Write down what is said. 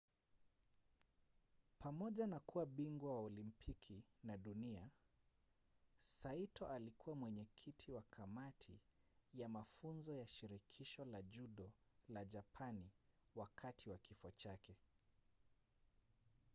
pamoja na kuwa bingwa wa olimpiki na dunia saito alikuwa mwenyekiti wa kamati ya mafunzo ya shirikisho la judo la japani wakati wa kifo chake